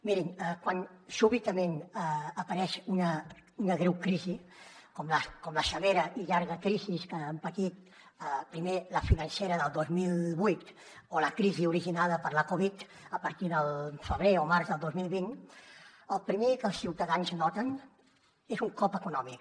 mirin quan sobtadament apareix una greu crisi com la severa i llarga crisi que hem patit primer la financera del dos mil vuit o la crisi originada per la covid a partir del febrer o març del dos mil vint el primer que els ciutadans noten és un cop econòmic